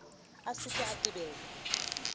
a se ke a tebelwa